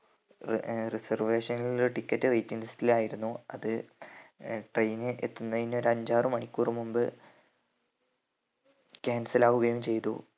ഏർ reservation നിൽ ticket waiting list ൽ ആയിരുന്നു അത് ഏർ train എത്തുന്നതിന് ഒരു അഞ്ചാറ് മണിക്കൂർ മുമ്പ് cancel ആവുകയും ചെയ്‌തു